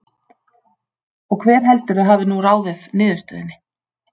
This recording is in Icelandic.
Og hver heldurðu að hafi nú ráðið niðurstöðunni?